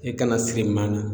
I kana siri maa na